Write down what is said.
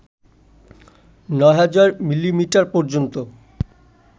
৯০০০ millimetre পর্যন্ত